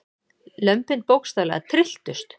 Lömbin bókstaflega trylltust.